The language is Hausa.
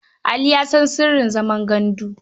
Ali ya san sirrin zaman gandu.